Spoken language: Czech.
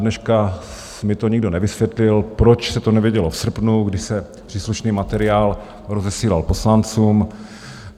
Dodneška mi to nikdo nevysvětlil, proč se to nevědělo v srpnu, kdy se příslušný materiál rozesílal poslancům.